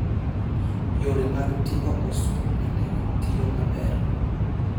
Yore mag ting'o osuru e ndege tiyo maber.